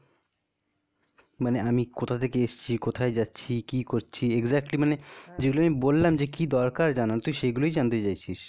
মানে আমি কোথা থেকে এসছি? কোথায় যাচ্ছি? কি করছি? এইগুলা exactly মানে যেটা আমি বললাম যে কি দরকার জানার, তুই সেইগুলাই জানতে চাইছিস.